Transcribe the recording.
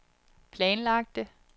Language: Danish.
planlagte